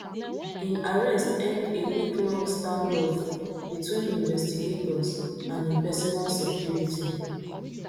im arrest end a weeklong standoff between investigators and im personal security